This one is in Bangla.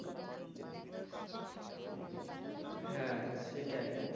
হ্যা সেটাই